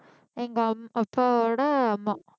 எங்க அம்~ அப்பாவோட அம்மா